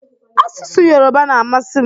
Asụsụ yoroba na-amasị m.